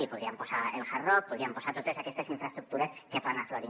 i hi podríem posar el hard rock hi podríem posar totes aquestes infraestructures que van aflorant